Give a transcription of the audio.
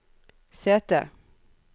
sete